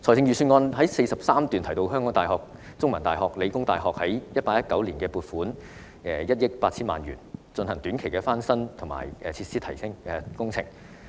預算案第43段提到香港大學、香港中文大學及香港理工大學於 2018-2019 年度已獲撥款約1億 8,000 萬元，進行短期的翻新及設施提升工程。